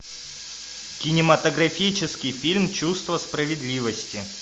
кинематографический фильм чувство справедливости